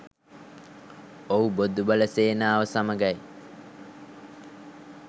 ඔව් බොදු බල සේනාව සමඟයි